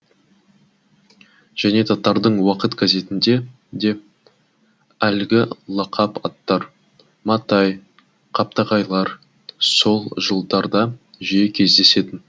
және татардың уақыт газетінде де әлгі лақап аттар матай қаптағайлар сол жылдарда жиі кездесетін